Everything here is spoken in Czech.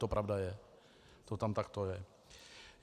To pravda je, to tam takto je.